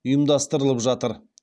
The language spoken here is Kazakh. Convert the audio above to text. ұйымдастырылып жатыр